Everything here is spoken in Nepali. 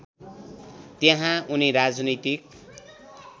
त्यहाँ उनी राजनैतिक